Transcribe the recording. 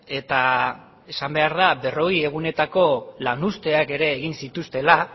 eta esan behar da berrogei egunetako lan usteak ere egin zituztela